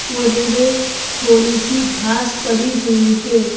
कोने में थोड़ी सी घास पड़ी हुई है।